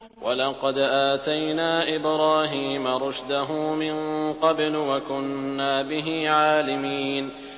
۞ وَلَقَدْ آتَيْنَا إِبْرَاهِيمَ رُشْدَهُ مِن قَبْلُ وَكُنَّا بِهِ عَالِمِينَ